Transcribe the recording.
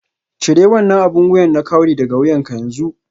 Cire wannan abin wuya na kawry daga wuyanka yanzu